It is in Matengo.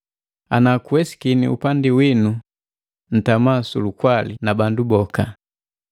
Ana kuwesakini, upandi winu ntama su lukwali na bandu boka.